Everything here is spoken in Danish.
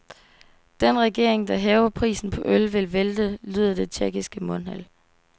Den regering, der hæver prisen på øl, vil vælte, lyder et tjekkisk mundheld.